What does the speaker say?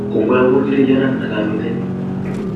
Kongoi amun kiriyana al amiten yuu